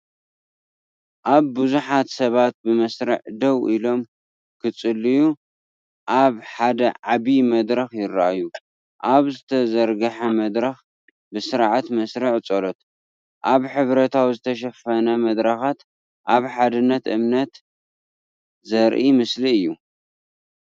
ኣብዚ ብዙሓት ሰባት ብመስርዕ ደው ኢሎም፡ ክጽልዩ፡ ኣብ ሓደ ዓቢ መድረኽ ይረኣዩ። ኣብ ዝተዘርግሐ መድረኽ ብስርዓት መስርዕ ጸሎት፡ ኣብ ሕብራዊ ዝተሸፈነ መድረኻት ኣብ ሓድነት እምነት ዘርኢ ምስሊ እዩ።